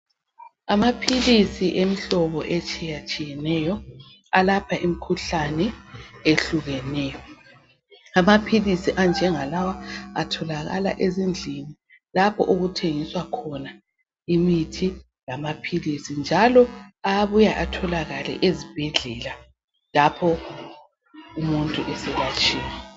Amaphilisi emihlobo, etshiyatshiyeneyo. Alapha imikhuhlane ehlukeneyo. Amaphilisi anjengalawa atholakaka ezindlini, lapha okuthengiswa khona imithi lamaphilisi, njalo abuya atholakale ezibhedlela lapho umuntu eselatshiwe.